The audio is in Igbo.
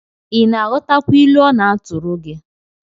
Ị na-aghọtakwa ilu ọ na-atụrụ gi?